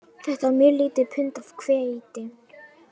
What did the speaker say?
Þetta er mjög lítið pund af hveiti